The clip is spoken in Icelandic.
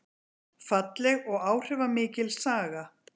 Falleg og áhrifamikil saga